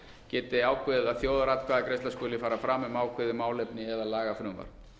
geti ákveðið að þjóðaratkvæðagreiðsla skuli fara fram um ákveðið málefni eða lagafrumvarp